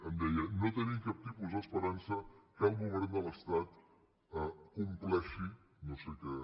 em deia no tenim cap tipus d’esperança que el govern de l’estat compleixi no sé què